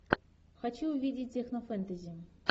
хочу увидеть технофэнтези